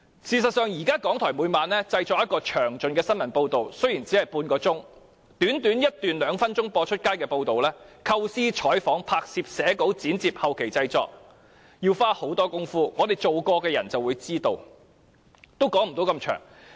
事實上，現時港台每晚也製作詳盡的新聞報道，雖然只是半小時，但短短一段兩分鐘"出街"的報道，由構思、採訪、拍攝、寫稿、剪接至後期製作，都要花很多工夫，我們曾從事有關工作的人便會知道，我也不說太多細節了。